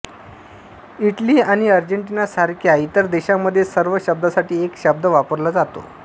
Italy आणि अर्जेंटिनासारख्या इतर देशांमध्ये सर्व शब्दांसाठी एक शब्द वापरला जातो